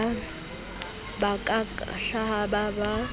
ba ka ka hahaba ka